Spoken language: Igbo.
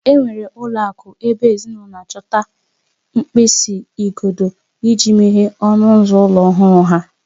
Enwere ụlọ akụ ebe ezinụlọ na-achọta mkpịsị ugodi iji meghee ọnụ ụzọ ụlọ ọhụrụ ha.